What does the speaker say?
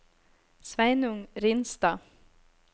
Sveinung Ringstad